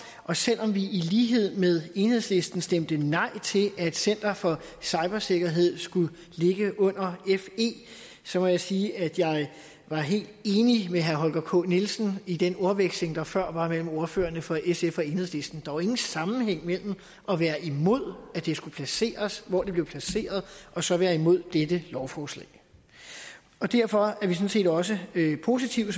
og selv om vi i lighed med enhedslisten stemte nej til at center for cybersikkerhed skulle ligge under fe må jeg sige at jeg var helt enig med herre holger k nielsen i den ordveksling der før var mellem ordførerne for sf og enhedslisten jo ingen sammenhæng imellem at være imod at det skulle placeres hvor det blev placeret og så være imod dette lovforslag derfor er vi som set også positive